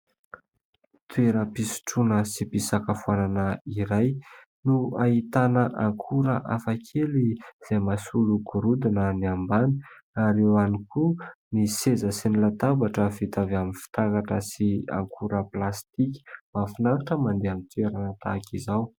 Toeram-pisotroana sy fisakafoanana iray, no ahitana akora hafakely izay mahasolo gorodona ny ambany, ary eo ihany koa ny seza sy ny latabatra vita avy amin'ny fitaratra sy akora plastika. Mahafinaritra ny mandeha amin'ny toerana tahaka izao.